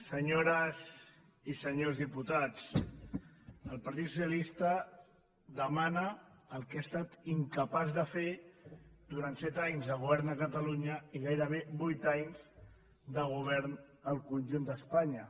senyores i senyors diputats el partit socialista demana el que ha estat incapaç de fer durant set anys de govern a catalunya i gairebé vuit anys de govern al conjunt d’espanya